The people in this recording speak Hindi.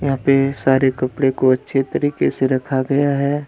यहां पे सारे कपड़े को अच्छे तरीके से रखा गया है।